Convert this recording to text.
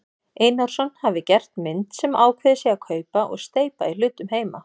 Einarsson hafi gert mynd sem ákveðið sé að kaupa og steypa í hlutum heima.